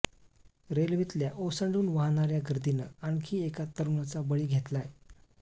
रेल्वेतल्या ओसंडून वाहणाऱ्या गर्दीनं आणखी एका तरुणाचा बळी घेतलाय